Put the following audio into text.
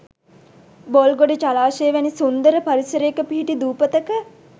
බොල්ගොඩ ජලාශය වැනි සුන්දර පරිසරයක පිහිටි දූපතක